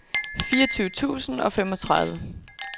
fireogtyve tusind og femogtredive